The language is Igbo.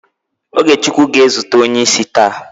OgeChukwu ga-ezute onye isi taa